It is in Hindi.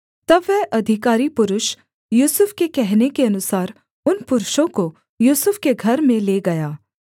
तब वह अधिकारी पुरुष यूसुफ के कहने के अनुसार उन पुरुषों को यूसुफ के घर में ले गया